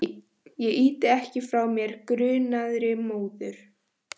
Ég ýti ekki frá mér grunaðri móður.